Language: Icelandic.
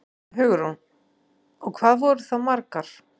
Hugrún: Og hvað voru það margar?